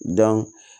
Dan